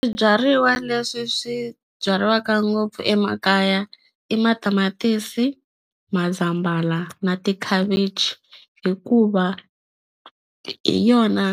Swibyariwa leswi swi byariwaka ngopfu emakaya i matamatisi mazambhala na tikhavichi hikuva hi yona